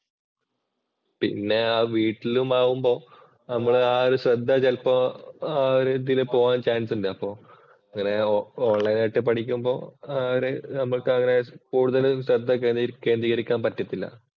പിന്നെ ആ വീട്ടിലും ആവുമ്പോ നമ്മള് ആ ഒരു ശ്രദ്ധ ചെലപ്പോ ആ ഒരു ഇതില് പോകാന്‍ ചാന്‍സ് ഉണ്ട്. അപ്പൊ അങ്ങനെ ഓണ്‍ലൈന്‍ ആയിട്ട് പഠിക്കുമ്പോ ആ ഒരു നമ്മള്‍ക്കങ്ങനെ കൂടുതലും ശ്രദ്ധ കേന്ദ്രീകരിക്കാന്‍ പറ്റത്തില്ല.